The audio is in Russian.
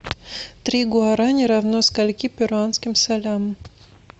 три гуараня равно скольки перуанским солям